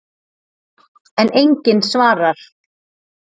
En enginn svarar.